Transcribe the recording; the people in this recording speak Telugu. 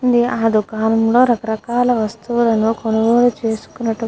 అది కూడా రకాల రకాల వస్తువ్లులు కొనుగోలు చేస్కుంటు --